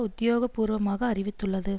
உத்தியோக பூர்வமாக அறிவித்துள்ளது